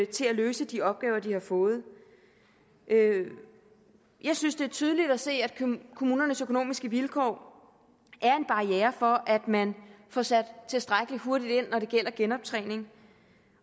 til at løse de opgaver de har fået jeg jeg synes det er tydeligt at se at kommunernes økonomiske vilkår er en barriere for at man får sat tilstrækkelig hurtigt ind når det gælder genoptræning